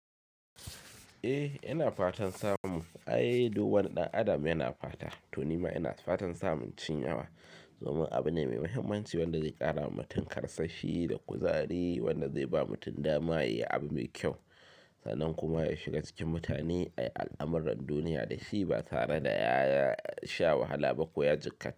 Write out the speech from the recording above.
Eh yana fatan samu, ai duk wani ɗan adam yana fata. To nima ina fatan samun cin yawa domin abu ne mai mahimmanci wanda zai ƙara wa mutum karsashi da kuzari wanda zai ba mutum dama ya yi abu mai kyau sannan kuma ya shiga cikin mutane ai al'amuran duniya da shi ba tare da ya sha wahala ba ko ya jikkata.